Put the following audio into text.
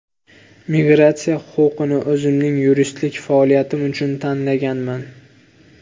Migratsiya huquqini o‘zimning yuristlik faoliyatim uchun tanlaganman.